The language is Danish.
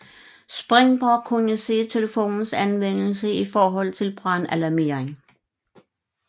Springborg kunne se telefonens anvendelse i forhold til brandalarmering